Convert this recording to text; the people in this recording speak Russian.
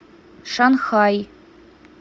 шанхай